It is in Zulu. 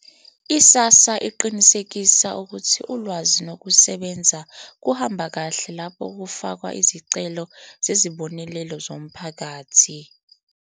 I-SASSA iqinisekisa ukuthi ulwazi nokusebenza kuhamba kahle lapho kufakwa izicelo zezibonelelo zomphakathi.